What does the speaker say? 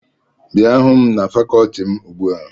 Bịa hụ m na fakọọti m ugbu a!